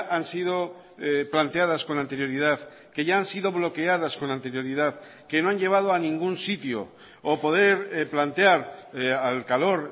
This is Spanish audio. han sido planteadas con anterioridad que ya han sido bloqueadas con anterioridad que no han llevado a ningún sitio o poder plantear al calor